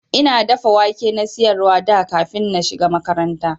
Ina dafa wake na siyarwa da kafin na shiga makaranta.